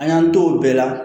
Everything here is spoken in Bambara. An y'an to o bɛɛ la